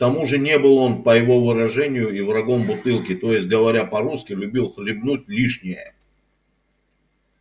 к тому же не был он по его выражению и врагом бутылки то есть говоря по-русски любил хлебнуть лишнее